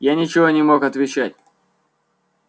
я ничего не мог отвечать